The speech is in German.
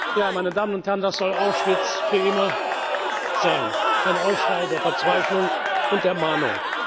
Ja, meine Damen und Herren, das soll Auschwitz für immer sein, ein Aufschrei der Verzweiflung und der Mahnung.